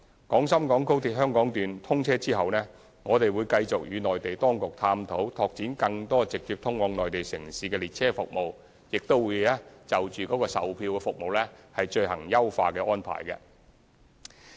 廣深港高鐵香港段通車後，我們會繼續與內地當局探討拓展更多直接通往內地城市的列車服務，亦會就售票服務進行優化安排。